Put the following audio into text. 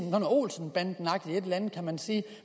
olsenbandenagtigt kan man sige